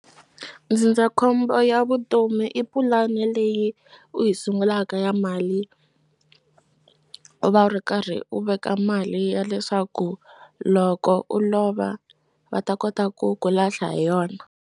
Ndzindzakhombo ya vutomi i pulani leyi u yi sungulaka ya mali u va u ri karhi u veka mali ya leswaku loko u lova va ta kota ku ku lahla hi yona.